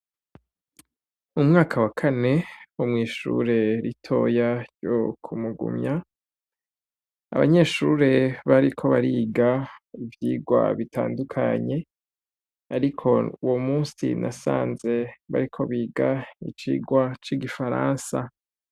Umwaka wa kane wo mw’ishure ritoya ryo Kumugumya, abanyeshure bariko bariga ivyigwa bitandukanye ariko uwo musi nasanze bariko biga icigwa c’igifaransa.